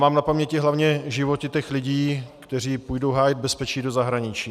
Mám na paměti hlavně životy těch lidí, kteří půjdou hájit bezpečí do zahraničí.